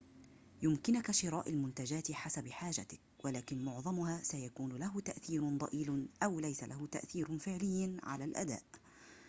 يمكنك شراء المنتجات حسب حاجتك ولكن معظمها سيكون له تأثير ضئيل أو ليس له تأثير فعلى على الأداء